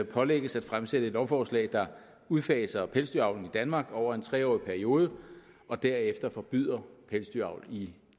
pålægges at fremsætte et lovforslag der udfaser pelsdyravlen i danmark over en tre årig periode og derefter forbyder pelsdyravl i